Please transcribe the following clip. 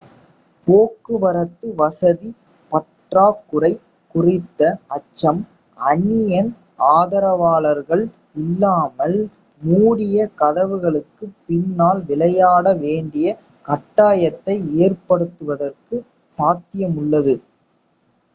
போக்குவரத்து வசதி பற்றாக்குறை குறித்த அச்சம் அணியின் ஆதரவாளர்கள் இல்லாமல் மூடிய கதவுகளுக்குப் பின்னால் விளையாட வேண்டிய கட்டாயத்தை ஏற்படுத்துவதற்குச் சாத்தியமுள்ளது